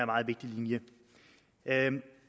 meget vigtig linje